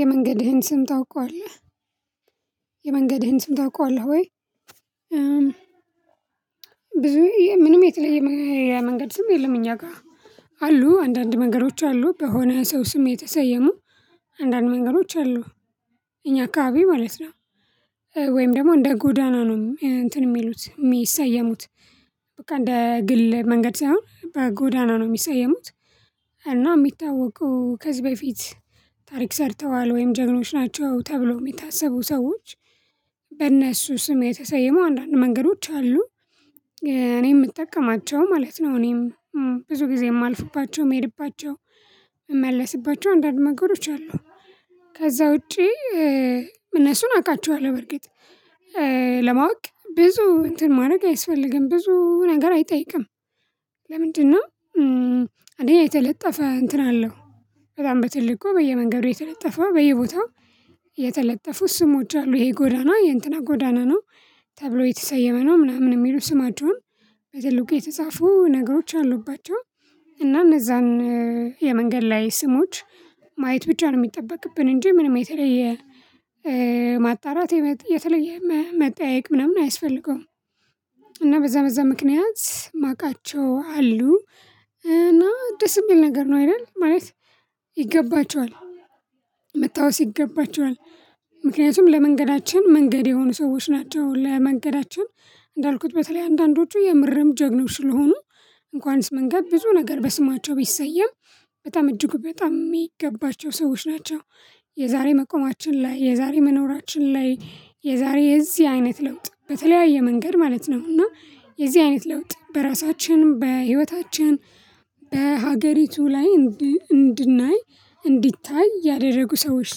የመንገድህን ስም ታውቀዋለህ የመንገድህን ስም ታውቀዋለህ ወይ? ብዙ ምንም የተለየ የመንገድ ስም የለም እኛ ጋር አሉ አንዳንድ መንገዶች አሉ በሆነ ሰው ስም የተሰየሙ አንዳንድ መንገዶች አሉ። እኛ አካባቢ ማለት ነው ወይም ደግሞ እንደ ጎዳና ነው እንትን የሚሉት የሚሰየሙት በቃ እንደ ግል መንገድ ሳይሆን በጎዳና ነው የሚሰየሙት። እና የሚታወቁ ከዚህ በፊት ታሪክ ሰርተዋል ወይም ጀግኖች ናቸው ተብለው የሚታሰቡ ሰዎች በእነሱ ስም የተሰየሙ አንዳንድ መንገዶች አሉ። እኔ የምጠቀማቸው ማለት ነው እኔም ብዙ ጊዜ የማልፉባቸው የሚሄድባቸው እመልስባቸው አንዳንድ መንገዶች አሉ ከዛ ውጪ እነሱን አውቃቸዋለሁ በርግጥ ለማወቅ ብዙ እንትን ማድረግ አይስፈልግም ብዙ ነገር አይጠይቅም። ለምንድነው? አንደኛ የተለጠፈ እንትን አለው በጣም በትልቁ በየመንገዱ የተለጠፈ በየቦታው የተለጠፉ ስሞች አሉ ይሄ ጎዳና የእንትና ጎዳና ነው ተብሎ የተሰየመ ነው ምናምን የሚሉ ስማቸውን በትልቁ የተጻፉ ነገሮች አሉባቸው። እና እነዛን የመንገድ ላይ ስሞች ማየት ብቻ ነው የሚጠበቅብን እንጂ ምንም የተለየ ማጣራት የተለየ መጠየቅ ምናምን አይስፈልገውም። እና በዛ በዛ ምክንያት የማውቃቸው አሉ እና ደስ የሚል ነገር ነው አይደል ማለት ይገባቸዋል መታወስ ይገባቸዋል። ምክንያቱም ለመንገዳችን መንገድ የሆኑ ሰዎች ናቸው ለመንገዳችን እንዳልኩት በተለይ አንዳንዶቹ የምርም ጀግኖች ስለሆኑ እንኳንስ መንገድ ብዙ ነገር በስማቸው ቢሰየም በጣም እጅጉ በጣም የሚገባቸው ሰዎች ናቸው። የዛሬ መቆማችን ላይ የዛሬ መኖራችን ላይ የዛሬ የዚህ አይነት ለውጥ በተለያየ መንገድ ማለት ነው እና የዚህ አይነት ለውጥ በራሳችን በህይወታችን በሀገሪቱ ላይ እንድናይ እንዲታይ ያደረጉ ሰዎች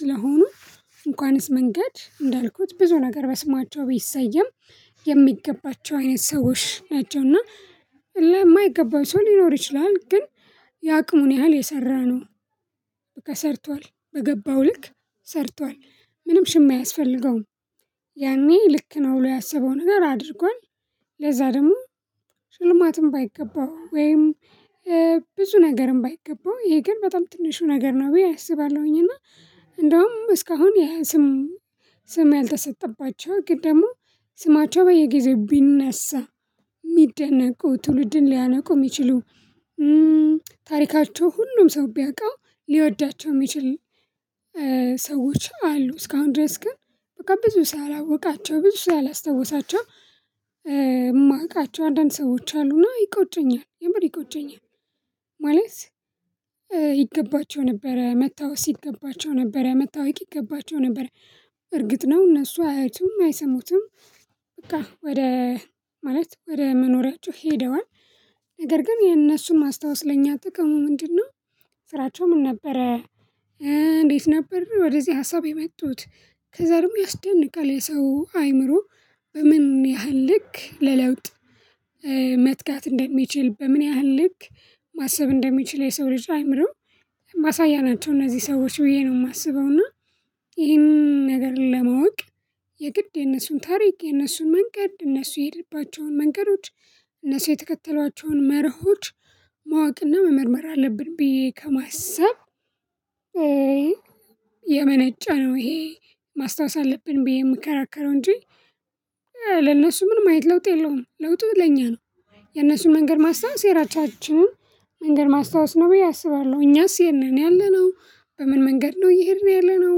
ስለሆኑ እንኳንስ መንገድ እንዳልኩት ብዙ ነገር በስማቸው ቢሰየም የሚገባቸው አይነት ሰዎች ናቸውና የማይገባው ሰው ሊኖር ይችላል ግን የአቅሙን ያህል የሰራ ነው በቃ ሰርቷል በገባው ልክ ሰርቷል ምንም ሽምያ አያስፈልገውም። ያኔ ልክ ነው ብሎ ያሰበው ነገር አድርጓል ለዛ ደግሞ ሽልማትም ባይገባው ወይም ብዙ ነገርም ባይገባው ይሄ ግን በጣም ትንሹ ነገር ነው ብዬ አስባለሁኝ። እና እንደውም እስካሁን ይሄ ስም ስም ያልተሰጠባቸው ግን ደግሞ ስማቸው በየጊዜው ቢነሳ የሚደነቁ ትውልድን ሊያነቁ የሚችሉ ታሪካቸው ሁሉም ሰው ቢያውቀው ሊወዳቸው የሚችል ሰዎች አሉ እስካሁን ድረስ ግን በቃ ብዙ ሰው ያላወቃቸው ብዙ ሰው ያላስታወሳቸው የማውቃቸው አንዳንድ ሰዎች አሉና ይቆጩኛል የምር ይቆጩኛል። ማለት ይገባቸው ነበረ መታወስ ይገባቸው ነበረ መታወቅ ይገባቸው ነበር። እርግጥ ነው እነሱ አያዩቱም አይሰሙትም በቃ ወደ ማለት ወደ መኖሪያቸው ሄደዋል። ነገር ግን የነሱን ማስታወስ ለኛ ጥቅሙ ምንድነው? ስራቸው ምን ነበረ? እንዴት ነበር ወደዚህ ሀሳብ የመጡት? ከዛም ያስደንቃል የሰው አአምሮ በምን ያህል ልክ ለለውጥ መትጋት እንደሚችል በምን ያህል ልክ ማሰብ እንደሚችል የሰው ልጅ አአምሮ ማሳያ ናቸው። እነዚህ ሰዎች ብዬ ነው የማስበው እና ይሄንን ነገር ለማወቅ የግድ የነሱን ታሪክ የነሱን መንገድ እነሱ የሄዱባቸውን መንገዶች እነሱ የተከተሏቸውን መርሆች ማወቅና መመርመር አለብን ብዬ ከማሰብ የመነጨ ነው ይሄ። ማስታወስ አለብን ብዬ የምከራከረው እንጂ ለነሱ ምንም አየነት ለውጥ የለውም ለውጡ ለኛ ነው። የነሱን መንገድ ማስታወስ የራሳችንን መንገድ ማስታወስ ነው ብዬ አስባለሁ። እኛስ የት ነን ያለነው በምን መንገድ ነው እየሄድን ያለነው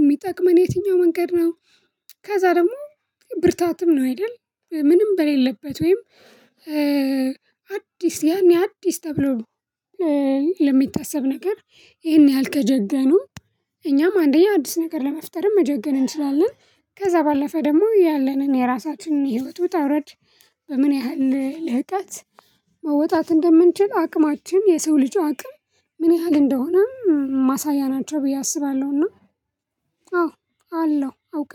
የሚጠቅመን የትኛው መንገድ ነው? ከዛ ደግሞ ብርታትም ነው አይደል ምንም በሌለበት ወይም አዲስ ያኔ አዲስ ተብሎ ለሚታሰብ ነገር ይሄን ያህል ከጀገኑ እኛም አንደኛ አዲስ ነገር ለመፍጠር መጀገን እንችላለን። ከዛ ባለፈ ደግሞ ያለንን የራሳችንን የህይወት ውጣ ውረድ በምን ያህል ልህቀት መወጣት እንደምንችል አቅማችን የሰው ልጅ አቅም ምን ያህል እንደሆነ ማሳያ ናቸው ብዬ አስባለሁና። አዎ አለሁ አውቃለሁ